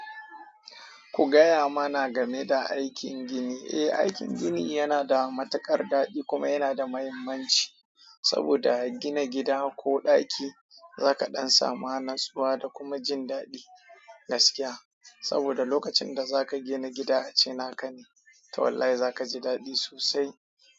Ku gaya mana game da aikin gini. Eh, aikin gini yana da matuƙar daɗi kuma yana da mahimmanci saboda gina gida ko ɗaki zaka ɗan samu natsuwa da kuma jin daɗi gaskiya saboda lokacin da zaka gina gida a ce naka ne, to wallahi za ka ji daɗi sosai.